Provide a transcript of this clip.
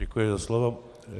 Děkuji za slovo.